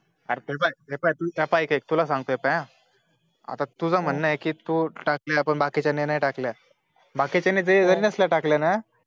अरे पाई हे पाई ऎक ऎक तुला संतोय हे पहा. अता तुझं म्हण हाय कि तू टाकलेल्या पण बाकिच्यांने नाई टाकल्या, बाकीच्यांनी जरी नसले टाकल्या ना